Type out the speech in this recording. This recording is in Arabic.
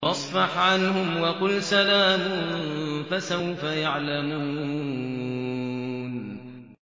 فَاصْفَحْ عَنْهُمْ وَقُلْ سَلَامٌ ۚ فَسَوْفَ يَعْلَمُونَ